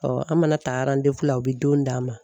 Ɔɔ an mana ta arandewu la u be don d'an ma